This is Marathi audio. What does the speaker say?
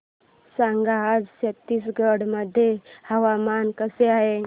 सांगा आज छत्तीसगड मध्ये हवामान कसे आहे